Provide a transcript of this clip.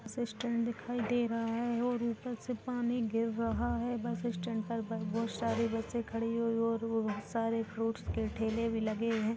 Assistant दिखाई दे रहा है और ऊपर से पानी गिर रहा है बस स्टैंड पर बहुत सारे बच्चे खड़े हुई और बहुत सारे फ्रूट्स के ठेले भी लगे हैं।